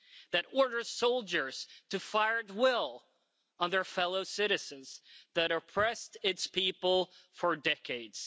that orders soldiers to fire at will on their fellow citizens, that oppressed its people for decades.